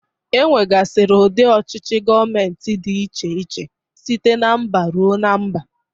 Enwegasiri ụdị ọchịchị Gọmenti dị iche iche site na mba rue na mba.